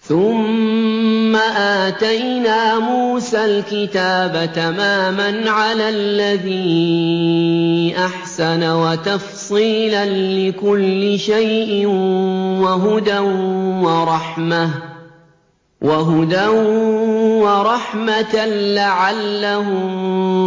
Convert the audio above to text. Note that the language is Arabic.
ثُمَّ آتَيْنَا مُوسَى الْكِتَابَ تَمَامًا عَلَى الَّذِي أَحْسَنَ وَتَفْصِيلًا لِّكُلِّ شَيْءٍ وَهُدًى وَرَحْمَةً لَّعَلَّهُم